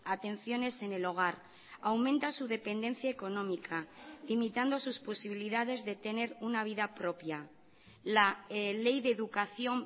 atenciones en el hogar aumenta su dependencia económica limitando sus posibilidades de tener una vida propia la ley de educación